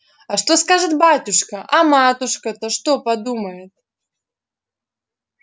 а что скажет батюшка а матушка-то что подумает